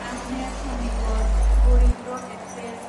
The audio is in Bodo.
आजमेर चन्दिगड़ गरिब रथ एक्सप्रेस